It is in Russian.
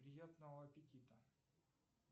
приятного аппетита